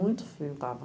frio estava.